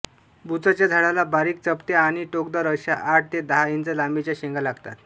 बुचाच्या झाडाला बारीक चपट्या आणि टोकदार अश्या आठ ते दहा इंच लांबीच्या शेंगा लागतात